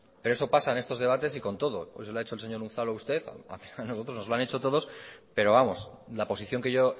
pero eso pasa en estos debates y con todo hoy se lo ha hecho el señor unzalu a usted a nosotros nos lo han hecho todos pero vamos la posición que yo